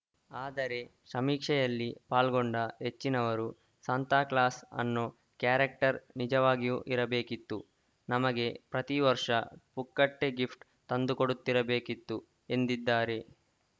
ಆದರೆ ಸಮೀಕ್ಷೆಯಲ್ಲಿ ಪಾಲ್ಗೊಂಡ ಹೆಚ್ಚಿನವರು ಸಾಂತಾಕ್ಲಾಸ್‌ ಅನ್ನೋ ಕ್ಯಾರೆಕ್ಟರ್‌ ನಿಜವಾಗಿಯೂ ಇರಬೇಕಿತ್ತು ನಮಗೆ ಪ್ರತಿವರ್ಷ ಪುಕ್ಕಟೆ ಗಿಫ್ಟ್‌ ತಂದುಕೊಡುತ್ತಿರಬೇಕಿತ್ತು ಎಂದಿದ್ದಾರೆ